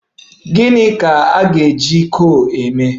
Gịni ka a ga-eji coal mee?